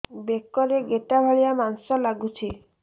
ବେକରେ ଗେଟା ଭଳିଆ ମାଂସ ଲାଗୁଚି